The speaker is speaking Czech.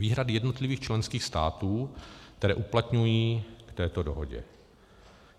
Výhrady jednotlivých členských států, které uplatňují k této dohodě.